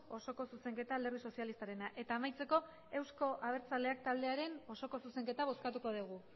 osoko zuzenketa alderdi sozialistarena eta amaitzeko euzko abertzaleak taldearen osoko zuzenketa bozkatuko dugu